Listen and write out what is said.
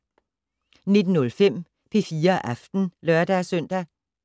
19:05: P4 Aften (lør-søn)